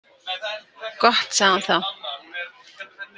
Gott, sagði hún þá.